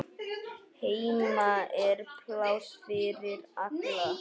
Heima er pláss fyrir alla.